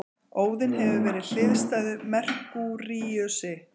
Óðinn hefur verið hliðstæður Merkúríusi.